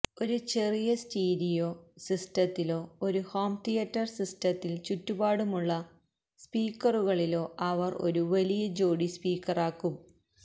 ഒരു ചെറിയ സ്റ്റീരിയോ സിസ്റ്റത്തിലോ ഒരു ഹോം തിയറ്റർ സിസ്റ്റത്തിൽ ചുറ്റുപാടുമുള്ള സ്പീക്കറുകളിലോ അവർ ഒരു വലിയ ജോഡി സ്പീക്കറാക്കും